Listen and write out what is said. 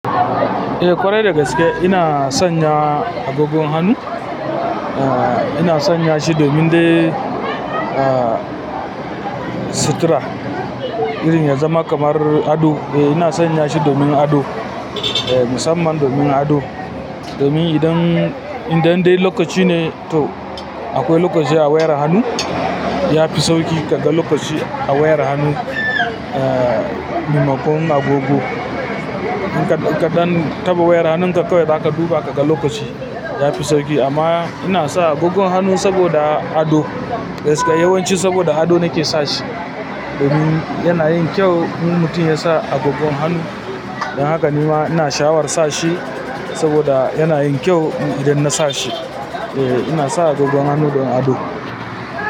Eh ƙwarai dagaske ina sanya agogon hannu. Eh ina sanya shi domin dai sutura irin ya zama kamar ado. Eh ina sanya shi domin ado. Eh musamman domin ado. Domin idan, idan dai lokaci ne to akwai lokaci a wayar hannu, yafi sauƙi kaga lokaci a wayar hannu mai makon agogo. In kaɗan taɓa wayar hannunka kawai zaka duba kaga lokaci yafi sauƙi amma ina sa agogon hannu saboda ado gaskiya yawanci saboda ado nake sashi. Domin yana yin kyau in mutum yasa agogon hannu. Don haka ni ma ina sha'awar sa shi saboda yana yin kyau idan nasa shi. Eh ina sa agogon hannu don ado.